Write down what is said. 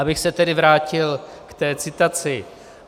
Abych se tedy vrátil k té citaci.